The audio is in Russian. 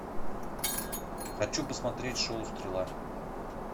хочу посмотреть шоу стрела